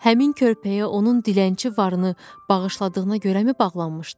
Həmin körpəyə onun dilənçi varını bağışladığına görəmi bağlanmışdı?